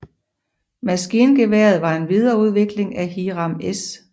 Maskingeværet var en videreudvikling af Hiram S